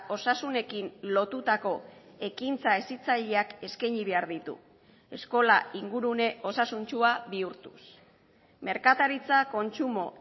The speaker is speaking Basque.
osasunekin lotutako ekintza hezitzaileak eskaini behar ditu eskola ingurune osasuntsua bihurtuz merkataritza kontsumo